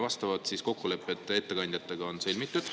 Vastavad kokkulepped ettekandjatega on sõlmitud.